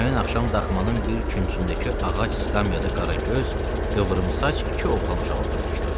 Həmin axşam daxmanın bir küncündəki ağac skamyada qaragöz, qıvrımsaç iki oğlan uşağı oturmuşdu.